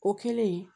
O kɛlen